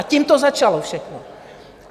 A tím to začalo všechno.